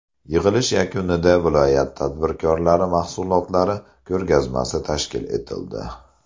Yig‘ilish yakunida viloyat tadbirkorlari mahsulotlari ko‘rgazmasi tashkil etildi.